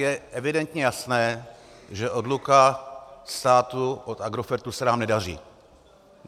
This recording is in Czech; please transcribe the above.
Je evidentně jasné, že odluka státu od Agrofertu se nám nedaří.